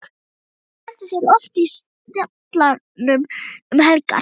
Hún skemmtir sér oft í Sjallanum um helgar.